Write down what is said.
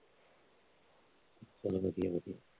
ਚੱਲ ਵਧੀਆ ਵਧੀਆ